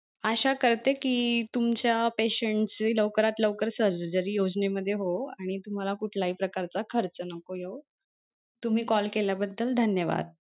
आशा करते कि तुमच्या patient ची लवकरात लवकर surgery योजने मध्ये होवो आणि तुम्हाला कुठलाही प्रकारचा खर्च नको येवो तुम्ही call केल्या बद्दल धन्यवाद.